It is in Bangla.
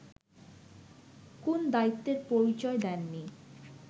কোন দায়িত্বের পরিচয় দেননি